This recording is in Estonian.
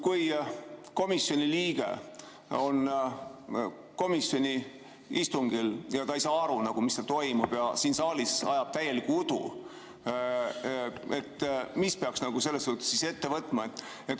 Kui komisjoni liige on komisjoni istungil ja ta ei saa aru, mis seal toimub, ja siin saalis ajab täielikku udu, siis mis peaks selles suhtes ette võtma?